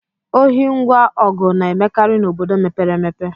Ohi ngwa ọgụ na-emekarị n'obodo mepere emepe